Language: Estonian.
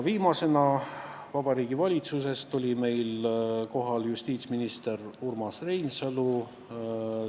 Viimasena astus meie ette Vabariigi Valitsusest justiitsminister Urmas Reinsalu.